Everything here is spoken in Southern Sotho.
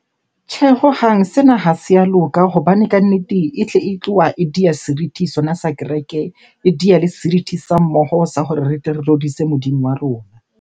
Tjhe, hohang sena ha se a loka hobane kannete e tle e tloha e di a seriti sona sa kereke. E diya le seriti sa mmoho sa hore re tle re rorise Modimo wa rona.